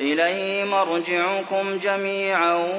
إِلَيْهِ مَرْجِعُكُمْ جَمِيعًا ۖ